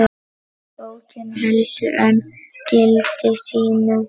Bókin heldur enn gildi sínu.